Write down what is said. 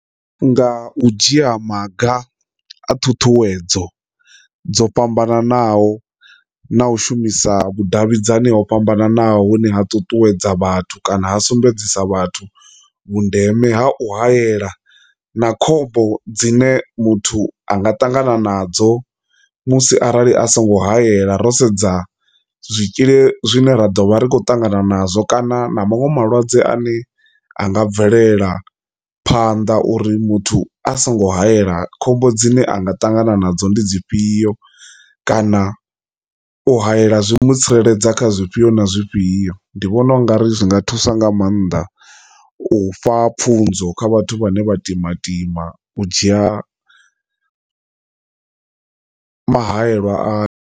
Nga u dzhia maga a thuthuwedzo dzo fhambananaho na u shumisa vhudavhidzani ho fhambananaho hune ha ṱuṱuwedza vhathu kana sumbedzisa vhathu vhundeme ha u hayela na khombo dzine muthu anga tangana nadzo musi arali a songo hayela ro sedza zwitzhili zwine ra ḓovha ri kho ṱangana nazwo, kana na maṅwe malwadze ane a nga bvelela phanḓa uri muthu a songo hayela khombo dzine anga tangana nadzo ndi dzi fhio, kana u hayela zwi mu tsireledza kha zwifhio na zwifhio. Ndi vhona ungari zwinga thusa nga maanḓa u pfha pfhunzo kha vhathu vhane vha timatima u dzhia muhayelwa a.